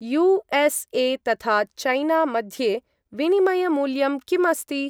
USA. तथा China मध्ये विनिमयमूल्यं किमस्ति?